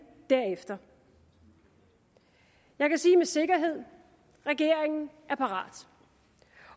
derefter jeg kan sige med sikkerhed regeringen er parat